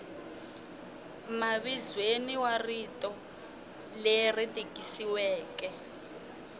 mavizweni wa rito leri tikisiweke